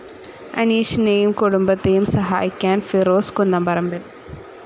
അനീഷിനെയും കുടുംബത്തെയും സഹായിക്കാൻ ഫിറോസ് കുന്നംപറമ്പിൽ